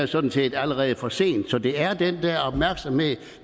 sådan set allerede for sent så det er den der opmærksomhed